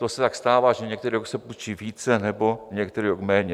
To se tak stává, že některý rok se půjčí více nebo některý rok méně.